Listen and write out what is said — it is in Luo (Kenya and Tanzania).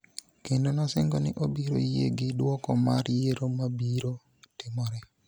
kendo nosingo ni obiro yie gi duoko mar yiero mabiro timore.